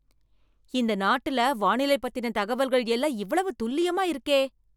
இந்த நாட்டுல வானிலை பத்தின தகவல்கள் எல்லாம் இவ்வளவு துல்லியமா இருக்கே!